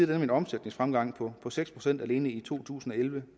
dem en omsætningsfremgang på seks procent alene i to tusind og elleve